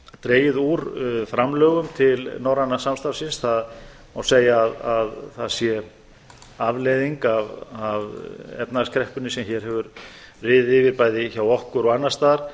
dregið úr framlögum til norræna samstarfsins það má segja að það sé afleiðing af efnahagskreppunni sem hér hefur riðið yfir bæði hjá okkur og annars staðar